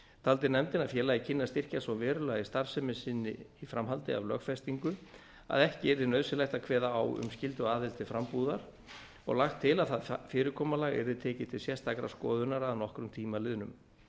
taldi nefndin að félagið kynni að styrkjast svo verulega í starfsemi sinni í framhaldi af lögfestingu að ekki yrði nauðsynlegt að kveða á um skylduaðild til frambúðar og lagt til að það fyrirkomulag yrði tekið til sérstakrar skoðunar að nokkrum tíma liðnum